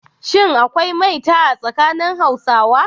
Shin akwai maita a tsakanin Hausawa?